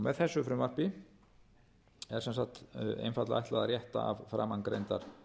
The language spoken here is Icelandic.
með þessu frumvarpi er sem sagt einfaldlega ætlað að rétta af framangreindar